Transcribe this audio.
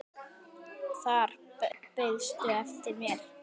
Þar beiðstu eftir mér.